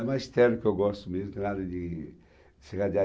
É magistério que eu gosto mesmo, não tem nada de ser